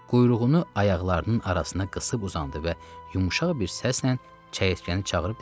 Quyruğunu ayaqlarının arasına qısıb uzandı və yumuşaq bir səslə çəyirtkəni çağırıb dedi: